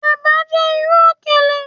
Eba jẹ iru okele